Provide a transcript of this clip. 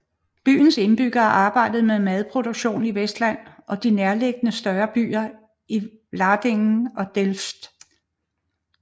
Byen indbyggere arbejdede med madproduktion i Westland og de nærliggende større byer Vlaardingen og Delft